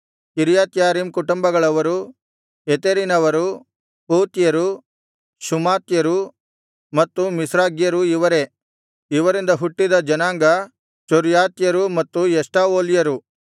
ಕಿರ್ಯತ್ಯಾರೀಮ್ ಕುಟುಂಬಗಳವರು ಯೆತೆರಿನವರು ಪೂತ್ಯರು ಶುಮಾತ್ಯರು ಮತ್ತು ಮಿಷ್ರಾಗ್ಯರು ಇವರೇ ಇವರಿಂದ ಹುಟ್ಟಿದ ಜನಾಂಗ ಚೊರ್ರಾತ್ಯರೂ ಮತ್ತು ಎಷ್ಟಾವೋಲ್ಯರೂ